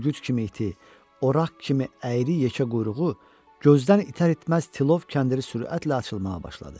Ülgüc kimi iti, oraq kimi əyri yekə quyruğu gözdən itər-itməz tilov kəndiri sürətlə açılmağa başladı.